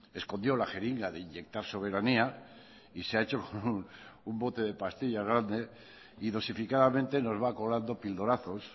escondió la jeringa de inyectar soberanía y se ha hecho con un bote de pastillas grande y dosificadamente nos va colando a pildorazos